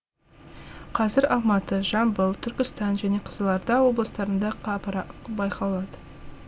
қазір алматы жамбыл түркістан және қызылорда облыстарында қапырық байқалады